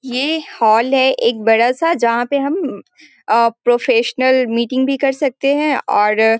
ये हाल है एक बड़ा सा जहाँ पे हम आ प्रोफेशनल मीटिंग भी कर सकते है और --